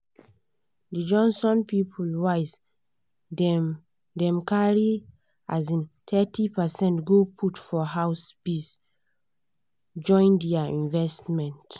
di johnson people wise dem dem carry um thirty percent go put for house biz join their investment.